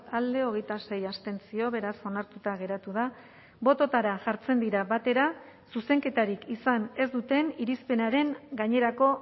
alde hogeita sei abstentzio beraz onartuta geratu da bototara jartzen dira batera zuzenketarik izan ez duten irizpenaren gainerako